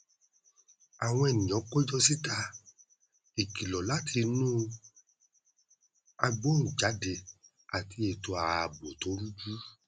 àwọn ènìyàn péjọ síta ìkìlọ láti inú agbóhùnjáde àti ètò ààbò tó rújú